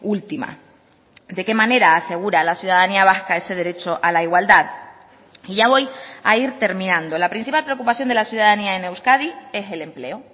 última de qué manera asegura a la ciudadanía vasca ese derecho a la igualdad y ya voy a ir terminando la principal preocupación de la ciudadanía en euskadi es el empleo